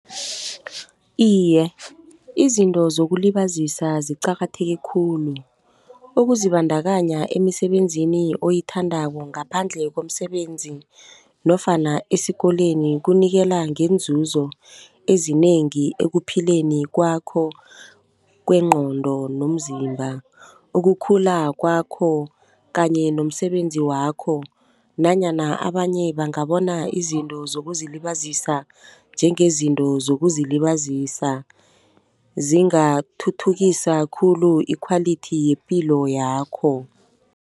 Iye, izinto zokulibazisa ziqakatheke khulu. Ukuzibandakanya emisebenzini oyithandako ngaphandle komsebenzi nofana esikolweni kunikela ngenzuzo ezinengi ekuphileni kwakho kwengqondo nomzimba, ukukhula kwakho kanye nomsebenzi wakho. Nanyana abanye bangabona izinto zokuzilibazisa njengezinto zokuzilibazisa, zingathuthukisa khulu ikhwalithi yepilo yakho.